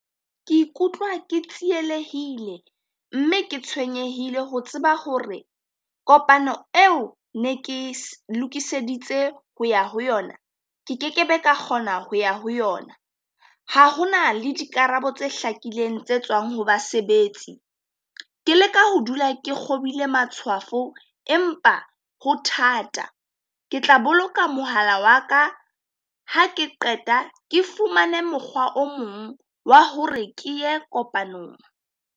Ke ikutlwa ke tsielehile mme ke tshwenyehile ho tseba hore kopano eo ne ke e lokiseditse ho ya ho yona, ke kekebe ka kgona ho ya ho yona. Ha hona le dikarabo tse hlakileng tse tswang ho basebetsi, ke leka ho dula ke kgobile matshwafo empa ho thata. Ke tla boloka mohala wa ka ha ke qeta ke fumane mokgwa o mong wa hore ke ye kopanong.